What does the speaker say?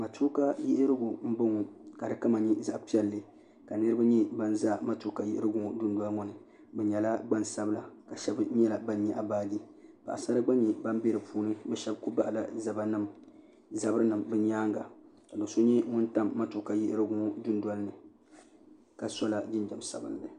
Matuuka yiɣirigu n boŋɔ ka di kama nyɛ zaɣ' piɛlli ka niraba zɛnʒɛ matuuka yiɣirigu ŋo dundoli ni bi nyɛla gbasabila ka shab nyɛla ban nyaɣa baaji paɣasara gba nyɛ bin bɛ bi puuni bi mii shab ku baɣala zabiri nim ni nyaanga ka bi so nyɛ ŋun tam matuuka yiɣirigu dondoli ni ka sola jinjɛm sabinli